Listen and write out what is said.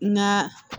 Nka